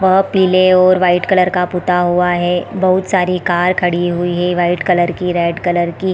और पीले और वाइट कलर का पुता हुआ है। बहुत सारी कार खड़ी हुई है वाइट कलर की रेड कलर की।